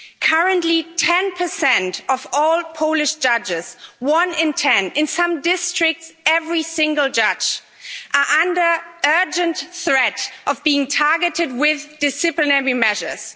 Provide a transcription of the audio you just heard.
Currently 10 of all Polish judges, one in ten in some districts, every single judge is under urgent threat of being targeted with disciplinary measures.